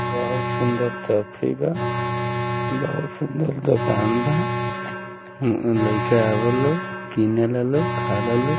बहुत सुन्दर टॉफी बा बहुत सुन्दर दूकान बा लइका आवेला लोग किनेला लोग खालाल लोग।